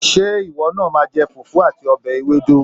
Ṣé ìwọ náà máa jẹ fùfú àti ọbẹ̀ ewédú?